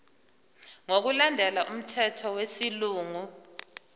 ngokulandela umthetho wesilungu